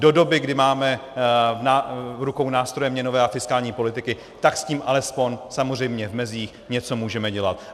Do doby, kdy máme v rukou nástroje měnové a fiskální politiky, tak s tím alespoň samozřejmě v mezích něco můžeme dělat.